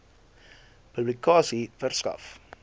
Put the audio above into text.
publikasie verskaf